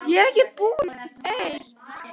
Ástarkveðjur frá flóttanum, þinn sonur Thomas.